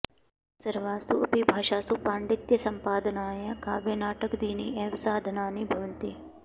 सर्वासु अपि भाषासु पाण्डित्यसम्पादनाय काव्यनाटकादीनि एव साधनानि भवन्ति